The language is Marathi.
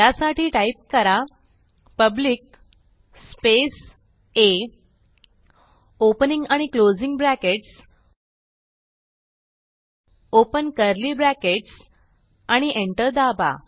त्यासाठी टाईप करा पब्लिक स्पेस आ ओपनिंग आणि closing brackets open curly brackets आणि एंटर दाबा